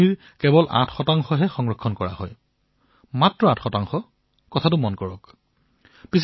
আপোনালোকে আচৰিত হব যে সমগ্ৰ বছৰত বৰ্ষাৰ দ্বাৰা যি পানী পোৱা যায় তাৰে কেৱল ৮হে আমাৰ দেশত বচাব পাৰি